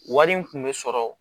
Wari in kun bɛ sɔrɔ